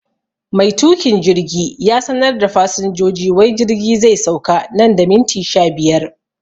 Mai tukin jirgi ya sanar da fasinjoji wai jirgi zai sauka nan da minti sha biyar